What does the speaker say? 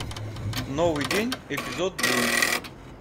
новый день эпизод девять